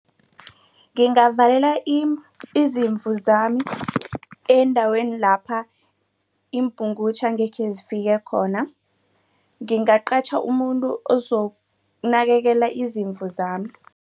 Ngingavela izimvu zami endaweni lapha iimpungutjhe engekhe zifike khona. Ngingaqatjha umuntu ozokunakelela izimvu zami.